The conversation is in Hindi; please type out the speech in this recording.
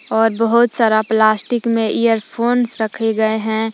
और बहोत सारा प्लास्टिक में इयर फोन्स रखे गए हैं।